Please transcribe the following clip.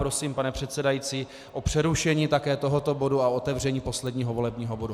Prosím, pane předsedající, o přerušení také tohoto bodu a otevření posledního volebního bodu.